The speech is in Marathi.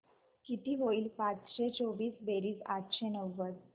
किती होईल पाचशे चोवीस बेरीज आठशे नव्वद